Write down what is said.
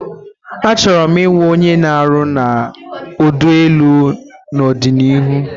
Achoro m iwu onye na aru na odu elu n'ọdịnihu